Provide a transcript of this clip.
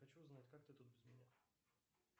хочу узнать как ты тут без меня